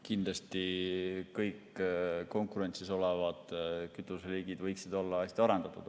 Kindlasti võiksid kõik konkurentsis olevate kütuseliikide olla hästi arendatud.